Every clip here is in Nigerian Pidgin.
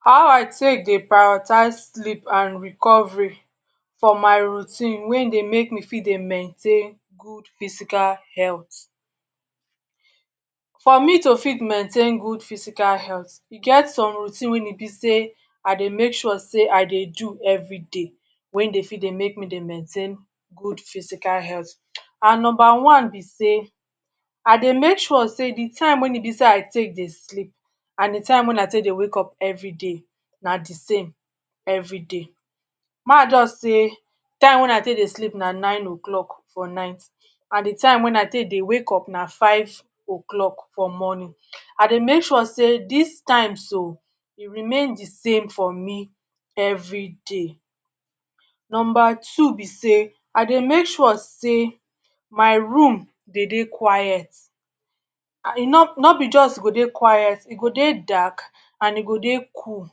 How I dey take dey take dey prioritize sleep and recovery for my routine wey im dey help me take dey maintain good physical health. For me to fit maintain good physical health, e get some routine wey e be sey I dey make sure sey I dey do every day, wey e fit dey maintain good physical health. And number one be sey I dey make sure sey de time wey e be sey I dey take dey sleep and de time wey be dey take wake up every day na de same every day. Make I jus say de time wen I take sleep everyday na nine O’clock for night and de time wen I dey take wake up na five O’clock for mornin. I dey make sure sey dis times o, e remain de same for me every day. Number two be sey I dey make sure sey my room dey dey quite, no jus go dey quite, e go dey dark and e go dey cool.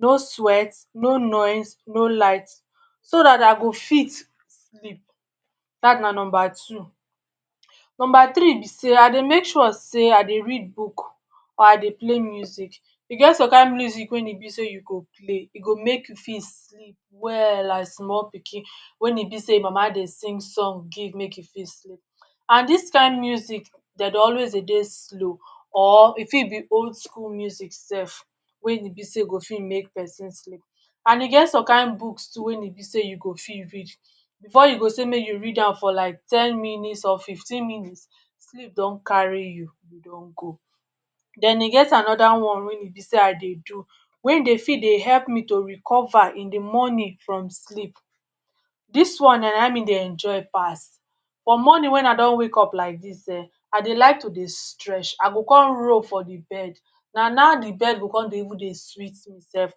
No, sweat, no noise, no light, so dat I go fit sleep dat na number two. Number three be sey, I dey make sure sey I dey read book or I dey play music. E get some kind music wey e be sey you go play e go make you fit sleep well like small pikin wen e be sey im mama dey sing song give make e fit sleep. And dis kind music dem dey always dey dey slow or e fit be old school music sef wey e be sey fit make pesin sleep, and e get some kind books too wen e be sey you fit read, before you go sey make you read am for like ten minutes or fifteen minutes sleep don carry you, e don go. Den e get another one wen e be sey I dey do wen e fit dey help me dey recover in de mornin from sleep. Dis one na im me dey enjoy pass, for mornin wen I don wake up like dis[um]I dey like to dey stretch, I go con roll for de bed na now de bed go even dey sweet me sef.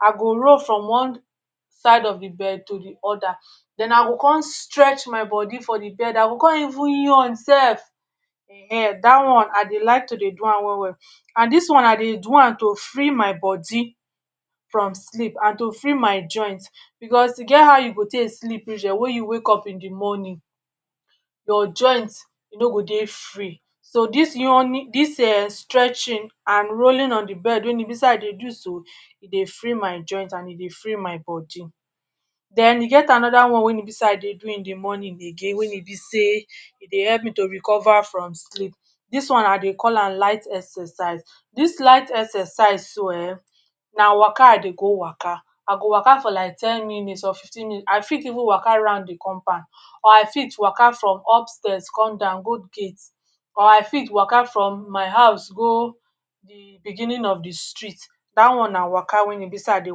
I go roll from one side of de bed to de other, den I go con stretch my bodi for de bed, den I go con even yawn sef[um]dat one I dey like to de do am well-well. And dis one, I dey do am to free my bodi from sleep and to free my joint because e get how you take sleep reach[um]wen you wake up in de mornin your joint e no go dey free. So, dis yawning and stretching wen e be sey I dey do so e dey free my joint, e dey free my bodi. Den e get another one wen e be sey I dey do in de mornin again wen e be sey e dey help me to recover from sleep, dis one I dey call am light exercise. Dis light exercise so[um]na waka I dey go waka. I go waka for like ten minutes or fifteen minutes, I fit even waka round de compound or I fit waka from upstairs go down go gate, or I fit waka from my house go de beginning of de street. Dat one na waka wen e be sey I dey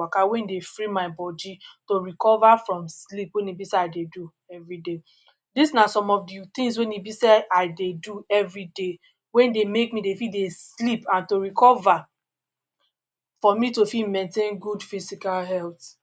waka wey e dey free my bodi to recover from sleep wen e be sey I dey do every day. Dis na some of de things wen e be sey I dey do every day wey e dey make me dey sleep and to recover for me to take maintain good physical health